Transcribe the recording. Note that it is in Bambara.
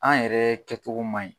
An yɛrɛ kɛcogo man ɲi